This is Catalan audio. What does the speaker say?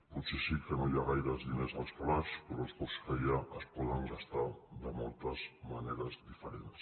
potser sí que no hi ha gaires diners al calaix però els pocs que hi ha es poden gastar de moltes maneres diferents